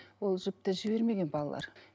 ол жіпті жібермеген балалар